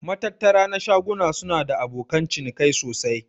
Matattara na shaguna suna da abokanan cinikai sosai.